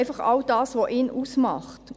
Einfach all das, was ihn ausmacht.